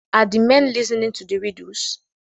Are the men listening to the riddles?